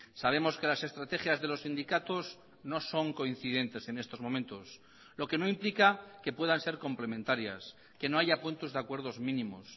sabemos que las estrategias de los sindicatos no son coincidentes en estos momentos lo que no implica que puedan ser complementarias que no haya puntos de acuerdos mínimos